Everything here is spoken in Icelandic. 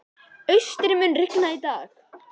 Austri, mun rigna í dag?